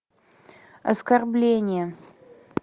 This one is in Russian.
оскорбление